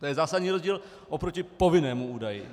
To je zásadní rozdíl oproti povinnému údaji.